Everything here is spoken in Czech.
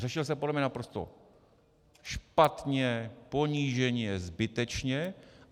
Řešil se podle mě naprosto špatně, poníženě, zbytečně.